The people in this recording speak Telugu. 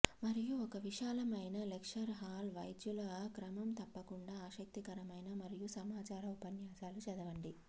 మరియు ఒక విశాలమైన లెక్చర్ హాల్ వైద్యుల క్రమం తప్పకుండా ఆసక్తికరమైన మరియు సమాచార ఉపన్యాసాలు చదవండి